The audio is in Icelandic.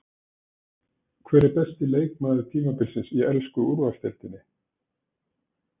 Hver er besti leikmaður tímabilsins í ensku úrvalsdeildinni?